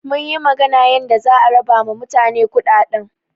Munyi magana yanda za a raba ma mutane kuɗaɗɗen.